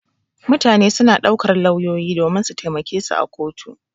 Mutane suna ɗaukar lauyoyi domin su taimake su a kotu.